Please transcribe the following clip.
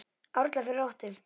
árla fyrir óttu